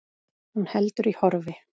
Hún heldur í horfi.